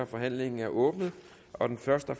forhandlingen er åbnet og den første